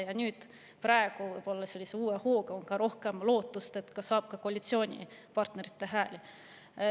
Ja nüüd, praegu on sellise uue hooga võib-olla rohkem lootust, et saab ka koalitsioonipartnerite hääli.